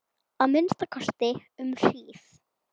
Að minnsta kosti um hríð.